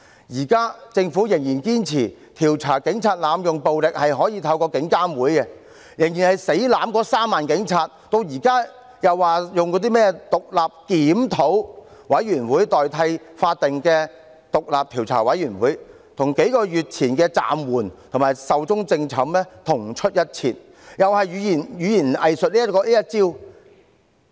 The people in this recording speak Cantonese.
現時政府仍然堅持可透過獨立監察警方處理投訴委員會來調查警員濫用暴力，仍然死抱着那3萬名警員，現在又說用甚麼獨立檢討委員會來代替法定的獨立調查委員會，這與數個月前的"暫緩"及"壽終正寢"同出一轍，同樣是語言"偽術"這一套。